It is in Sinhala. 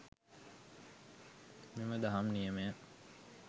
මෙම දහම් නියමය